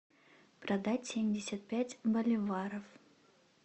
продать семьдесят пять боливаров